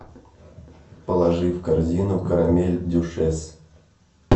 положи в корзину карамель дюшес